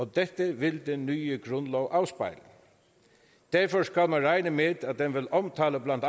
dette vil den nye grundlov afspejle derfor skal man regne med at den vil omfatte blandt